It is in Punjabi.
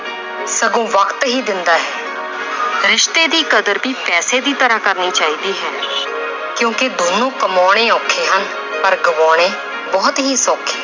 ਸ਼ਗੋਂ ਵਕਤ ਹੀ ਦਿੰਦਾ ਹੈ ਰਿਸ਼ਤੇ ਦੀ ਕਦਰ ਵੀ ਪੈਸੇ ਦੀ ਤਰ੍ਹਾਂ ਕਰਨੀ ਚਾਹੀਦੀ ਹੈ ਕਿਉਂਕਿ ਦੋਨੋਂ ਕਮਾਉਣੇ ਔਖੇ ਹਨ ਪਰ ਗਵਾਉਣੇ ਬਹੁਤ ਹੀ ਸੌਖੇ